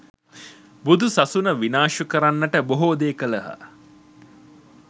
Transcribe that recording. බුදු සසුන විනාශ කරන්නට බොහෝ දේ කළහ.